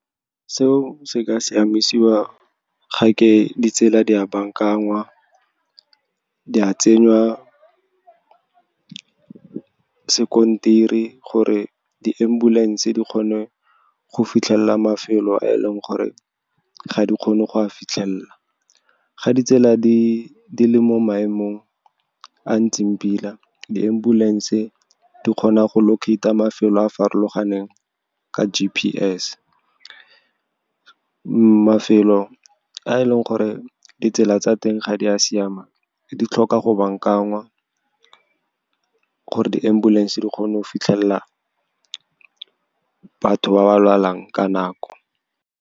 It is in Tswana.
Seo se ka siamisiwa, ga ke ditsela di a baakanngwa, di a tsengwa sekontiri, gore di-ambulance di kgone go fitlhelela mafelo a e leng gore ga di kgone go fitlhelela. Ga ditsela di le mo maemong a ntseng pila, di-ambulance di kgona go locate-a mafelo a a farologaneng ka G_P_S. Mafelo a e leng gore ditsela tsa teng ga di a siama, di tlhoka go baakangwa, gore di-ambulance di kgone go fitlhelela batho ba ba lwalang ka nako.